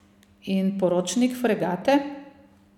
In poročnik fregate?